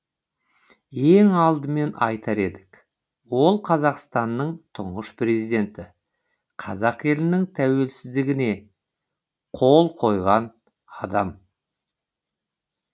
ең алдымен айтар едік ол қазақстанның тұңғыш президенті қазақ елінің тәуелсіздігне қол қойған адам